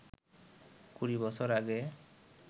কুড়ি বছর আগে